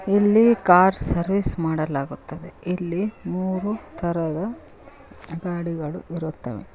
ಇಲ್ಲಿ car service ಮಾಡಲಾಗುತ್ತದೆ ಇಲ್ಲಿ ಮೂರು ತರದ ಗಾಡಿಗಳು ಇರುತ್ತವೆ.